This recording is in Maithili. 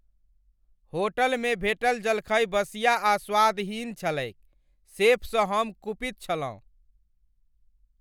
होटलमे भेटल जलखै बसिया आ स्वादहीन छलैक शेफ सँ हम कुपित छलहुँ।